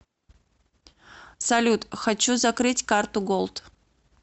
салют хочу закрыть карту голд